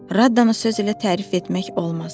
Radanı sözü ilə tərif etmək olmaz.